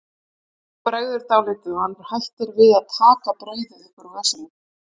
Honum bregður dálítið og hann hættir við að taka brauðið upp úr vösunum.